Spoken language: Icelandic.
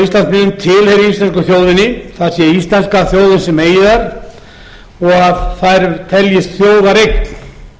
íslandsmiðum tilheyri íslensku þjóðinni það sé íslenska þjóðin sem eigi þær og að þær teljist þjóðareign